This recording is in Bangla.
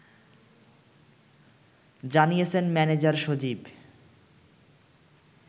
জানিয়েছেন ম্যানেজার সজীব